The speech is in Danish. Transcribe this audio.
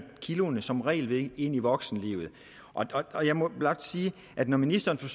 kiloene som regel ved ind i voksenlivet og jeg må blot sige at når ministeren